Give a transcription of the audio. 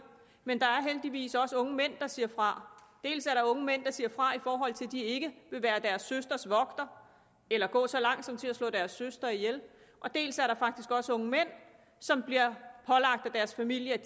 men der er heldigvis også unge mænd der siger fra dels er der unge mænd der siger fra i forhold til at de ikke vil være deres søsters vogter eller gå så langt som til at slå deres søster ihjel dels er der faktisk også unge mænd som af deres familie